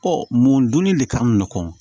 mun dunni de ka nɔgɔ